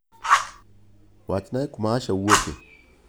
Wachnae kuma Asha wuoke.